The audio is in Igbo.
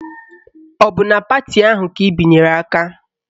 Ọ bụ na pati ahụ ka ị binyere aka?